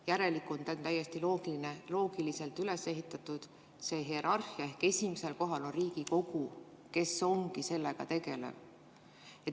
Järelikult on täiesti loogiliselt üles ehitatud see hierarhia, et esimesel kohal on Riigikogu, kes ongi sellega tegelev.